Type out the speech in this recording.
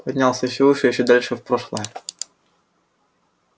поднялся ещё выше ещё дальше в прошлое